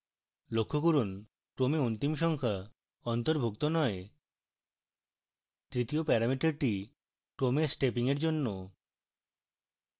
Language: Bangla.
লক্ষ্য করুন ক্রমে অন্তিম সংখ্যা অন্তর্ভুক্ত নয়